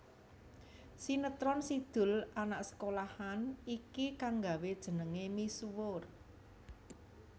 Sinetron Si Doel Anak Sekolahan iki kang nggawé jenengé misuwur